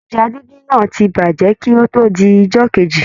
Ẹja díndín náà ti bàjẹ́ kí ó tó di ijọ́ kejì.